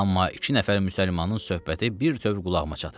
Amma iki nəfər müsəlmanın söhbəti birtöv qulağıma çatırdı.